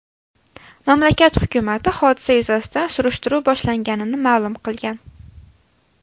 Mamlakat hukumati hodisa yuzasidan surishtiruv boshlanganini ma’lum qilgan.